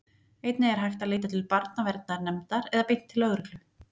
Einnig er hægt að leita til barnaverndarnefndar eða beint til lögreglu.